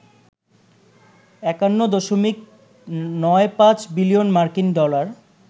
৫১.৯৫ billion মার্কিন dollar